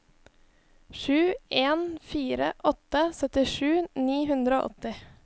sju en fire åtte syttisju ni hundre og åtti